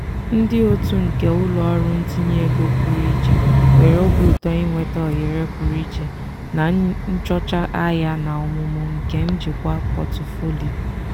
ndị otu nke ụlọ ọrụ ntinye ego pụrụ iche nwere obi ụtọ inweta ohere pụrụ iche na nchọcha ahịa na ọmụmụ nke njikwa pọtụfoliyo.